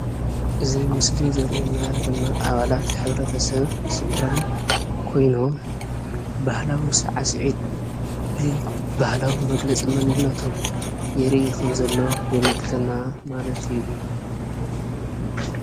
እዚ ምስሊ ዘሪኤና ድማ ኣባላት ሕብረተሰብ ስድራን ኮይኖም ባህላዊ ሳዕሲዒት ብባህላዊ መግለፂ መንነቶም የርኢ ከምዘሎ የመልክተና ማለት እዩ፡፡